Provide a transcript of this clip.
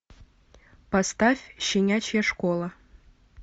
поставь щенячья школа